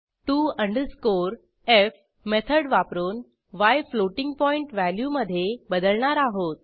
TO underscore F method वापरून य floating point व्हॅल्यूमधे बदलणार आहोत